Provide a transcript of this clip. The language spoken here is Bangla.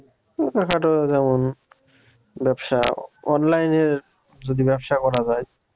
ছোটখাটো যেমন ব্যবসা online এ যদি ব্যবসা করা যায়